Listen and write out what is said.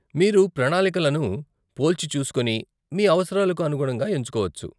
మీరు ప్రణాళికలను పోల్చిచూసుకోని మీ అవసరాలకు అనుగుణంగా ఎంచుకోవచ్చు.